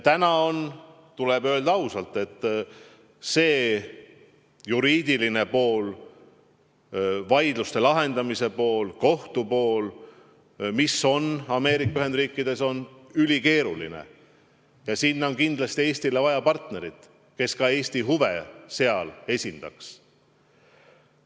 Täna tuleb ausalt öelda, et see juriidiline pool, vaidluste lahendamise pool, kohtu pool, mis on Ameerika Ühendriikides ülikeeruline, eeldab kindlasti seda, et Eestil on partner, kes Eesti huve seal esindaks.